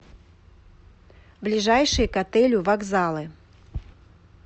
ближайшие к отелю вокзалы